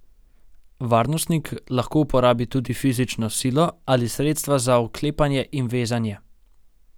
Varnostnik lahko uporabi tudi fizično silo ali sredstva za vklepanje in vezanje.